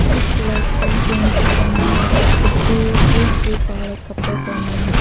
कुछ लड़के गेंजी पहना है तो कुछ पूरे फूल स्लीव्स वाले कपड़े पहना है।